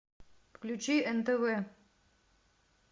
включи нтв